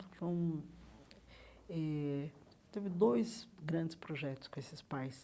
Eh teve dois grandes projetos com esses pais.